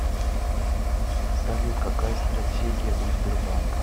салют какая стратегия у сбербанка